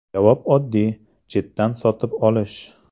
Javob oddiy – chetdan sotib olish.